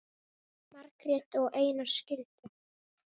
Margrét og Einar skildu.